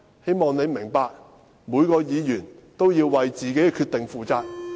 希望你明白，每位議員也要為自己的決定負責。